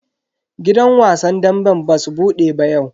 Gidan wasan damben basu bude ba yau.